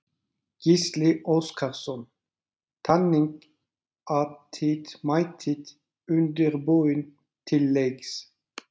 Gísli Óskarsson: Þannig að þið mætið undirbúin til leiks?